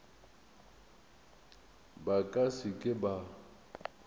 ba ka se ke ba